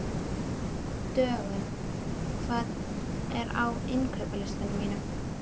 Dögun, hvað er á innkaupalistanum mínum?